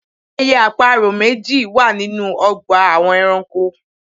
Ẹyẹ àparò méjì wà ninú ọgbà àwọn ẹranko